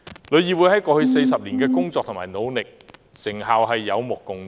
旅議會在過去40年的工作和努力，成效有目共賭。